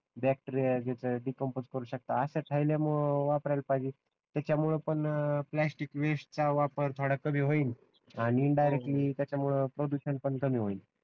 bacteria ज्याचे decompose करू शकतात अशा थैल्या वापरायला पाहिजे त्याच्यामुळे पण प्लास्टिक वेस्ट चा वापर थोडा कमी होईल आणि इनडायरेक्टली त्याच्यामुळे प्रदूषण पण कमी होईल